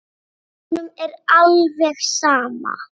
Honum er alveg sama.